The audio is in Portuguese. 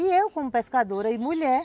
E eu, como pescadora e mulher,